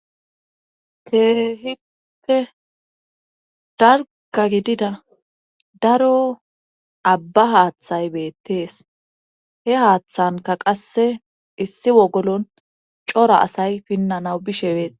Keehipppe darka gidida daro abba haaththay beettees he haaththanka qasse issi wogolon cora asay pinnanaw bishe bees